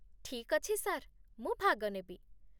ଠିକ୍ ଅଛି ସାର୍, ମୁଁ ଭାଗ ନେବି